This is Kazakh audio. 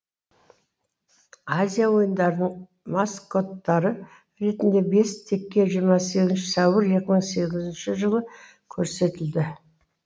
азия ойындарының маскоттары ретінде бес теке жиырма сегізінші сәуір екі мың сегізінші жылы көрсетілді